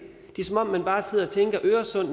er som om man bare sidder og tænker på øresund